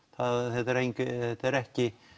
þetta er ekki